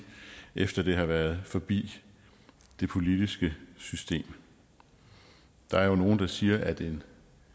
efter det har været forbi det politiske system der er jo nogle der siger at en